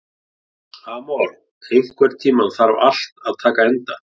Amor, einhvern tímann þarf allt að taka enda.